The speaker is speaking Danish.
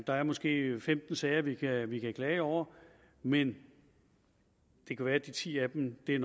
der er måske femten sager vi kan vi kan klage over men det kan være at de ti af dem er